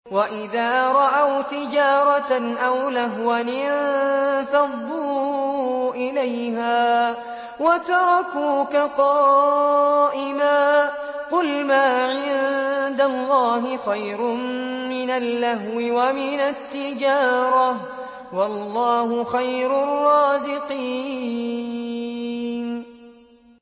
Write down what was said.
وَإِذَا رَأَوْا تِجَارَةً أَوْ لَهْوًا انفَضُّوا إِلَيْهَا وَتَرَكُوكَ قَائِمًا ۚ قُلْ مَا عِندَ اللَّهِ خَيْرٌ مِّنَ اللَّهْوِ وَمِنَ التِّجَارَةِ ۚ وَاللَّهُ خَيْرُ الرَّازِقِينَ